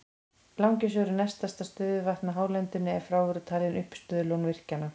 Langisjór er næst stærsta stöðuvatnið á hálendinu ef frá eru talin uppistöðulón virkjanna.